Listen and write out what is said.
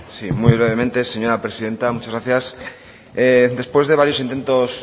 sí muy brevemente señora presidenta muchas gracias después de varios intentos